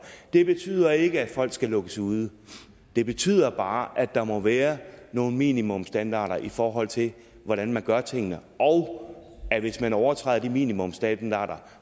det betyder ikke at folk skal lukkes ude det betyder bare at der må være nogle minimumsstandarder i forhold til hvordan man gør tingene og at hvis man overtræder de minimumsstandarder